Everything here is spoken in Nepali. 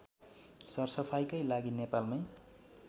सरसफाईकै लागि नेपालमै